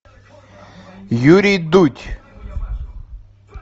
юрий дудь